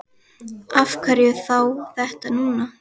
Af hverju þá þetta núna?